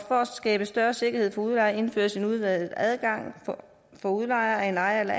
for at skabe større sikkerhed for udlejeren indføres en udvidet adgang for udlejere af en ejer eller